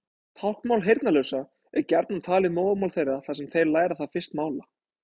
Táknmál heyrnarlausra er gjarnan talið móðurmál þeirra þar sem þeir læra það fyrst mála.